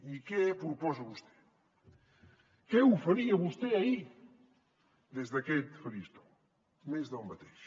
i què proposa vostè què oferia vostè ahir des d’aquest faristol més del mateix